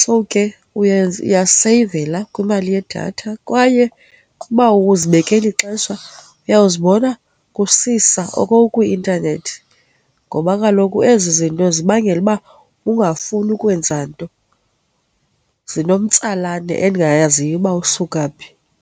So, ke uyaseyivela kwimali yedatha kwaye ukuba awuzibekeli ixesha uyawuzibona kusisa oko ukwi-intanethi ngoba kaloku ezi zinto zibangela uba ungafuni ukwenza nto, zinomtsalane endingayaziyo uba usuka phi.